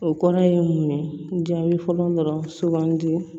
O kɔrɔ ye mun ye jaabi fɔlɔ dɔrɔn sugandi